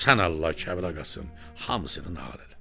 Sən Allah, Kərbəlayı Qasım, hamısını nağıl elə!